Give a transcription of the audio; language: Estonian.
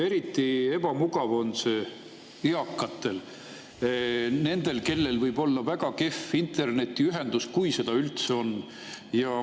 Eriti ebamugav on see eakatele, sest neil võib olla väga kehv internetiühendus, kui seda üldse on.